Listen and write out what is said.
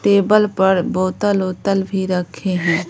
Table पर बोतल-वोतल भी रखे हैं .]